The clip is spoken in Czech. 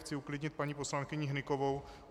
Chci uklidnit paní poslankyni Hnykovou.